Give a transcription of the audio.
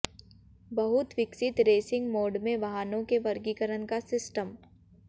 बहुत विकसित racing mode में वाहनों के वर्गीकरण का सिस्टम